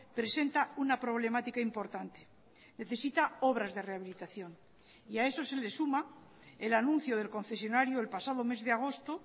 presenta una problemática importante necesita obras de rehabilitación y a eso se le suma el anuncio del concesionario el pasado mes de agosto